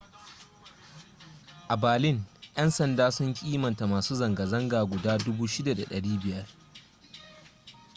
a berlin yan sanda sun kimanta masu zanga-zanga guda 6,500